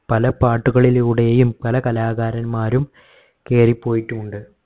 പല പാട്ടുകളിലൂടെയും പല കലാകാരൻമാരും കേറിപോയിട്ടുണ്ട്